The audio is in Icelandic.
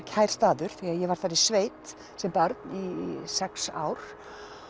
kær staður því ég var þar í sveit sem barn í sex ár